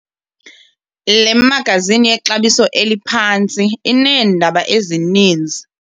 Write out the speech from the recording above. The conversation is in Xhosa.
Le magazini yexabiso eliphantsi ineendaba ezininzi.